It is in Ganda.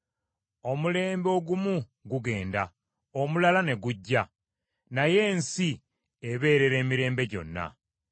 Omulembe ogumu gugenda, omulala ne gujja, naye ensi ebeerera emirembe gyonna.